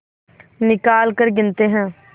निकालकर गिनते हैं